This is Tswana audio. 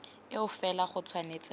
eo fela go tshwanetse ga